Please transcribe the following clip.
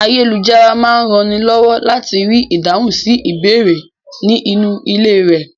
Ayélujára máa rànni lọ́wọ́ láti rí ìdáhùn sí ìbéèrè ní inú ilé rẹ.